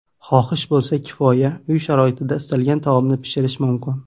Xohish bo‘lsa kifoya, uy sharoitida istalgan taomni pishirish mumkin.